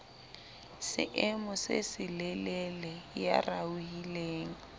seemo se selelele ya raohileng